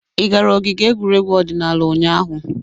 Ị gara ogige egwuregwu odịnaala ụnyaahụ?